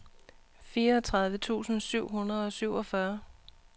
fireogtredive tusind syv hundrede og syvogfyrre